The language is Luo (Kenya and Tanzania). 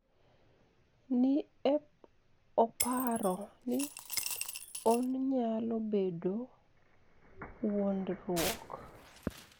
ni e oparo nii oniyalo bedo wuonidruok